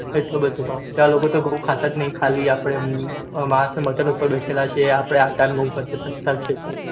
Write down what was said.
એટલો બધો ભાવ ત્યાં લોકો તો ઘઉં ખતા નાય ખાલી અપડે માસ અને મતમ ઉપર બેસે લા છે અપડે એટ નું છે તો